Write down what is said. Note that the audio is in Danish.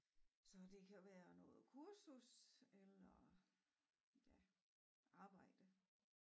Så det kan være noget kursus eller ja arbejde